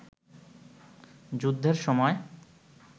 যুদ্ধের সময়